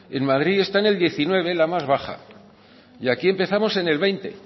en madrid está en el diecinueve la más baja y aquí empezamos en el veinte